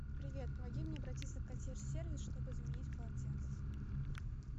привет помоги мне обратиться в консьерж сервис чтобы заменить полотенца